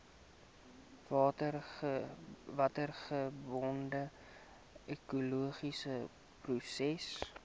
watergebonde ekologiese prosesse